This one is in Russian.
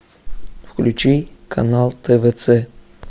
включи канал твц